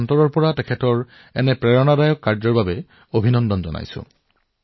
তেওঁৰ প্ৰেৰণাদায়ক কামৰ বাবে তেওঁৰ প্ৰচেষ্টাৰ বাবে মই তেওঁক হৃদয়ৰ পৰা অভিনন্দন জনাইছো